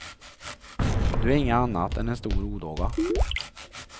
Du är inget annat än en stor odåga.